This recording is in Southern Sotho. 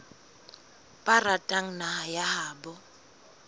ba ratang naha ya habo